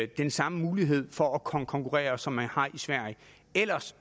den samme mulighed for at konkurrere som man har i sverige ellers